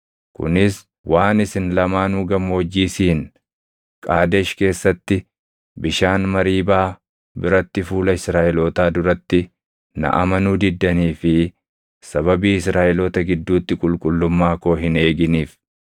Kunis waan isin lamaanuu Gammoojjii Siin, Qaadesh keessatti bishaan Mariibaa biratti fuula Israaʼelootaa duratti na amanuu diddanii fi sababii Israaʼeloota gidduutti qulqullummaa koo hin eeginiif.